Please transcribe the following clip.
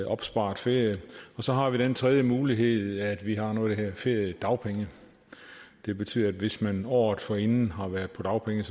opsparet ferie og så har vi den tredje mulighed at vi har noget der hedder feriedagpenge det betyder at hvis man året forinden har været på dagpenge